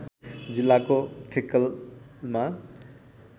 जिल्लाको फिक्कलमा